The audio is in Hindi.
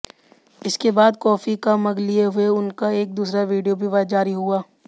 इसके बाद कॉफी का मग लिए हुए उनका एक दूसरा वीडियो भी जारी हुआ